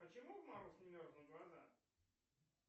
почему в мороз не мерзнут глаза